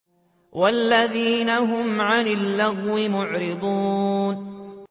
وَالَّذِينَ هُمْ عَنِ اللَّغْوِ مُعْرِضُونَ